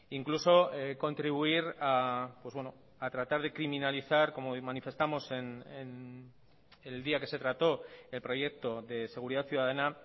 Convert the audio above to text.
incluso contribuir a tratar de criminalizar como manifestamos el día que se trató el proyecto de seguridad ciudadana